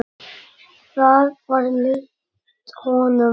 Það var líkt honum.